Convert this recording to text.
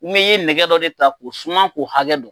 Ni ye nɛgɛ dɔ de ta k' o suman k'u hakɛ don.